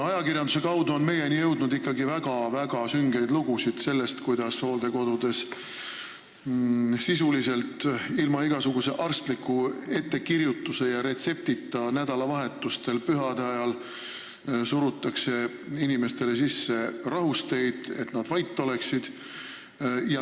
Ajakirjanduse kaudu on meieni jõudnud väga-väga süngeid lugusid sellest, kuidas nädalavahetustel ja pühade ajal surutakse hooldekodudes olevatele inimestele sisse rahusteid, sisuliselt ilma igasuguse arstliku ettekirjutuse ja retseptita, lihtsalt selleks, et nad oleksid vait.